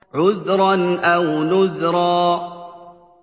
عُذْرًا أَوْ نُذْرًا